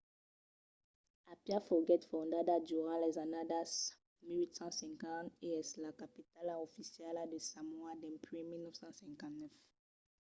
apia foguèt fondada durant las annadas 1850 e es la capitala oficiala de samoa dempuèi 1959